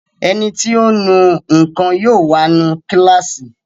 Ẹniti ó nu nǹkan yóò wá nu kíláàsì